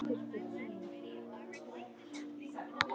Átján tilboð bárust í gær.